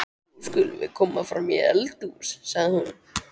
Nú skulum við koma fram í eldhús, sagði hún.